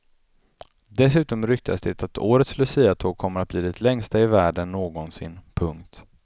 Dessutom ryktas det att årets luciatåg kommer att bli det längsta i världen någonsin. punkt